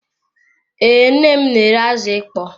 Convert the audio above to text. Ee, nnem n'ere azụ ịkpọ